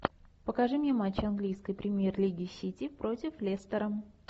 покажи мне матч английской премьер лиги сити против лестера